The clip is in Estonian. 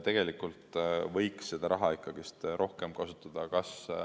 Tegelikult võiks seda raha rohkem kasutada muuks.